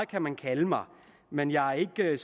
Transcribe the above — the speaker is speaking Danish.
kan man kalde mig men jeg er